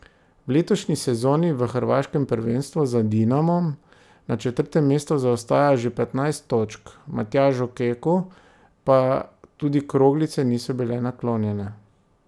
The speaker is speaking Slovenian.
V letošnji sezoni v hrvaškem prvenstvu za Dinamom na četrtem mestu zaostaja že petnajst točk, Matjažu Keku pa tudi kroglice niso bile naklonjene.